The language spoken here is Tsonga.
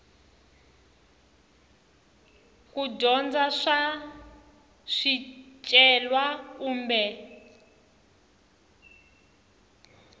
ku dyondza swa swicelwa kumbe